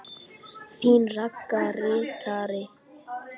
Þín Ragga ritari.